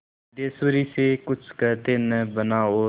सिद्धेश्वरी से कुछ कहते न बना और